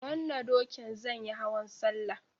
Da wanna dokin zanyi hauwan Sallah